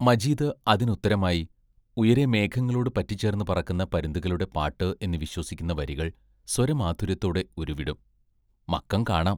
മജീദ് അതിനുത്തരമായി, ഉയരെ മേഘങ്ങളോട് പറ്റിച്ചേർന്ന് പറക്കുന്ന പരുന്തുകളുടെ പാട്ട് എന്ന് വിശ്വസിക്കുന്ന വരികൾ സ്വരമാധുര്യത്തോടെ ഉരുവിടും മക്കം കാണാം.